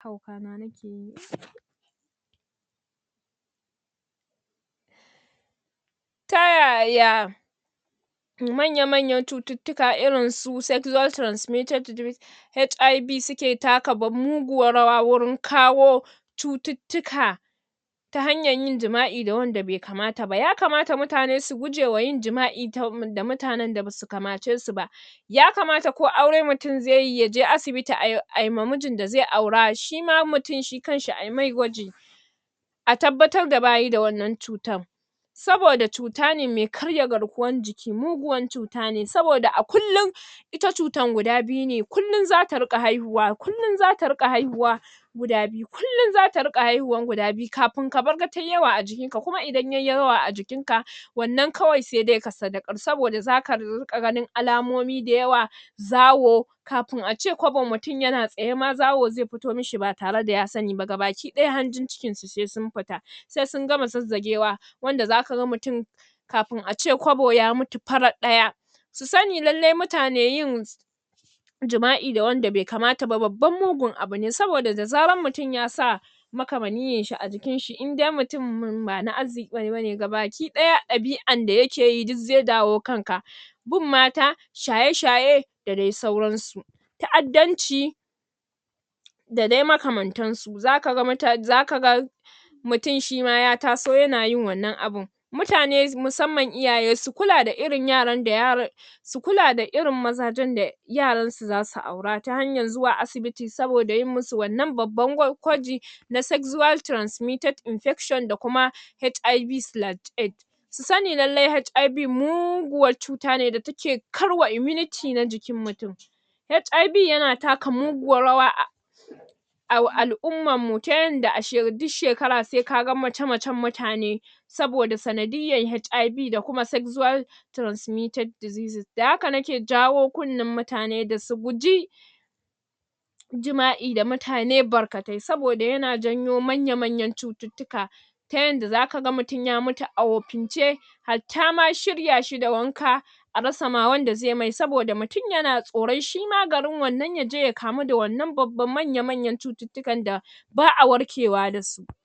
Ta yaya manya manya cututtuka irin su sexual transmitted diesease HIV suka taka bab muguwar rawa wurin kawo cututtuka ta hanyar yin jima'i da wanda bai kamata ba, yakamata mutane su gujewa yin jima'i ta um da mutanan da basu kamacesu ba yakamata ko aure mutum zai yi yaje asibiti ai, ai ma mijin da zai aura shima mutum shi kanshi ai mai gwajin a tabbatar da bayi da wannan cutar saboda cuta ne mai karya garkuwar jiki muguwar cutane saboda a kullin ita cutar guda biyu ne kullin zata riƙa haihuwa, kullin zata riƙa haihuwa guda biyu, kullin zata riƙa haihuwar guda biyu kafin ka farka tayi yawa a jikin ka, kuma idan yayi yawa a jikin ka wannan kawai sai dai ka saddaƙar saboda zaka riƙa ganin alamomi da yawa zawo kafin ace kwabo mutum yana tsaye ma zawo zai fito mashi ba tare da ya sani ba, gabaki ɗaya sai hanjin cikin sa sun fita sai sun gama zazzajewa wanda zaka ga mutum kafin ace kwabo ya mutu farar ɗaya su sani lallai mutane yin jima'i da wanda bai kamata ba babbar mugun abu ne saboda da zarar mutum yasa makama niyarshi a jikin shi, idai mutumin ba na arziƙi bane, gabaki ɗaya ɗabi'an da yake yi duk zai dawo kanaka bin mata shaye-shaye a dai sauransu ta'addanci da dai makamantan su, zaka ga mutane zaka ga mutum shima ya taso yana yin wannan abun mutane musamman iyaye su kula da irin yaran da yaran su kula da irin mazajen da yaransu zasu aura ta hanyar zuwa asibiti saboda yi musu wannan babban ƙwa gwaji na sexual transmitted infection da kuma HIV splash AIDS su sani lallai HIV muguwar cuta ne da take karwa immunite na jikin mutum HIV yana taka muguwar rawa a a al'ummar mu, ta yadda a she duk shekara sai kaga mace-macen mutane saboda sanadiyar HIV da kuma sexual transmitted diesease, da haka nake jawo kunnan mutane da su guji jima'i da mutane barkatai saboda yana janyo manya manyan cututtuka ta yadda zaka ga mutum ya mutu a wofince hattama shirya shi da wanka a rasa ma wanda zai mai, saboda mutum yana tsoron shima garin wannan yaje ya kamu da wannan babban manya manyan cututtukan da ba'a warkewa dasu.